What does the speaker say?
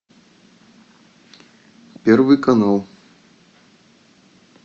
первый канал